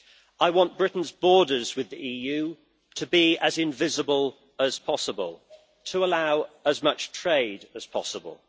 I want Britain's borders with the EU to be as invisible as possible, to allow as much trade as possible.